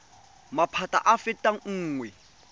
maphata a a fetang nngwe